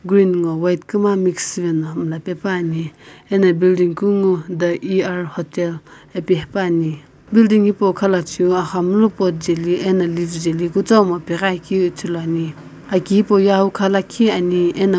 rent nguo white kuma mix shivae na mulapaepa ne ano building kunguo da er hotel api haepae building hipou lo khalachoi aghamlu cot jae li itomo ane.